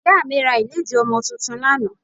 Ìyá mi ra ìlédìí ọmọ tuntun lánàá